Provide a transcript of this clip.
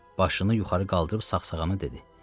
Başını yuxarı qaldırıb sağsağana dedi: